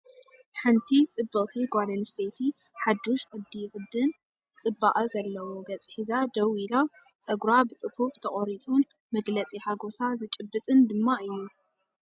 ሓንቲ ጽብቕቲ ጓል ኣነስተይቲ ሓዱሽ ቅዲ ቅድን ጽባቐ ዘለዎ ገጽ ሒዛ ደው ኢላ፡ ጸጉራ ብጽፉፍ ተቖሪጹን መግለጺ ሓጎሳ ዝጭበጥን ድማ እዩ።